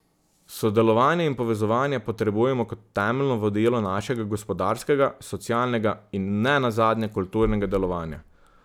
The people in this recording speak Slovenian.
Sodelovanje in povezovanje potrebujemo kot temeljno vodilo našega gospodarskega, socialnega in ne nazadnje kulturnega delovanja.